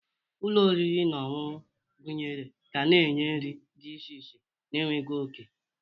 Ụlọ oriri na ọṅụṅụ gụnyere ga na-enye nri dị iche iche na-enweghị oke.